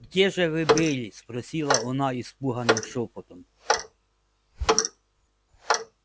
где же вы были спросила она испуганным шёпотом